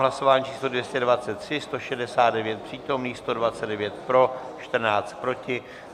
Hlasování číslo 223, 169 přítomných, 129 pro, 14 proti.